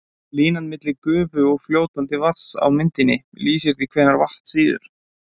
Línan milli gufu og fljótandi vatns á myndinni lýsir því hvenær vatn sýður.